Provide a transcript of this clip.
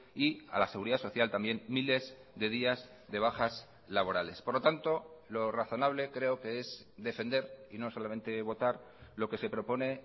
y a la seguridad social también miles de días de bajas laborales por lo tanto lo razonable creo que es defender y no solamente votar lo que se propone